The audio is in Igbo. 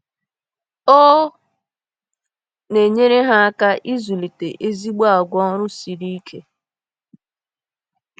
Ọ na-enyere ha aka ịzụlite ezigbo àgwà ọrụ siri ike.